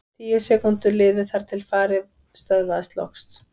Tíu sekúndur liðu þangað til farið stöðvaðist loks.